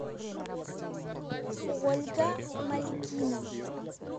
ольга мальгина